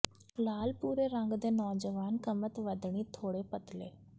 ਲਾਲ ਭੂਰੇ ਰੰਗ ਦੇ ਨੌਜਵਾਨ ਕਮਤ ਵਧਣੀ ਥੋੜ੍ਹਾ ਪਤਲੇ